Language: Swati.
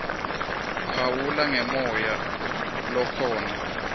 phawula ngemoya lokhona